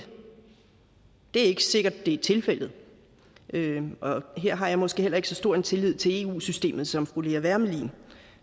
er ikke sikkert at det er tilfældet og her har jeg måske ikke så stor en tillid til eu systemet som fru lea wermelin